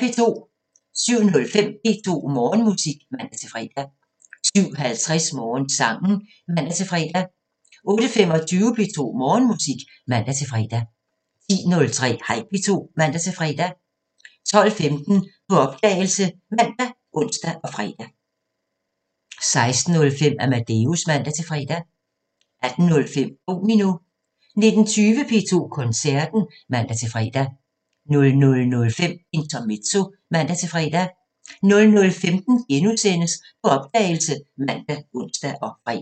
07:05: P2 Morgenmusik (man-fre) 07:50: Morgensangen (man-fre) 08:25: P2 Morgenmusik (man-fre) 10:03: Hej P2 (man-fre) 12:15: På opdagelse ( man, ons, fre) 16:05: Amadeus (man-fre) 18:05: Domino 19:20: P2 Koncerten (man-fre) 00:05: Intermezzo (man-fre) 00:15: På opdagelse *( man, ons, fre)